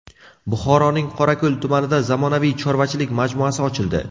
Buxoroning Qorako‘l tumanida zamonaviy chorvachilik majmuasi ochildi.